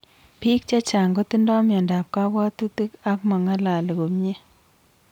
Piik chechang kotindoi miondap kapwatutik ak mangalali komnye